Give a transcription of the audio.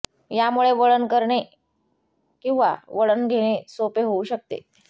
यामुळे वळण करणे किंवा वळण घेणे सोपे होऊ शकते